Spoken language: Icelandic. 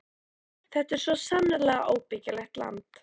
Þetta er svo sannarlega óbyggilegt land.